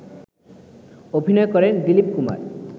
অভিনয় করেন দীলিপ কুমার